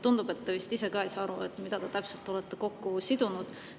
Tundub, et te vist ise ka ei saa aru, mida te täpselt olete kokku sidunud.